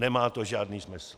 Nemá to žádný smysl.